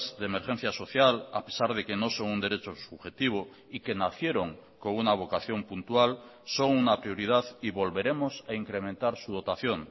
de emergencia social a pesar de que no son un derecho subjetivo y que nacieron con una vocación puntual son una prioridad y volveremos a incrementar su dotación